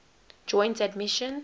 joint admission